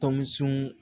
Tɔnsun